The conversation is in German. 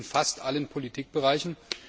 Wir erleben das in fast allen Politikbereichen.